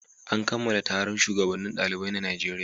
An kammala taron shugabannin ɗalibai na Najeriya.